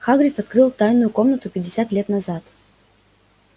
хагрид открыл тайную комнату пятьдесят лет назад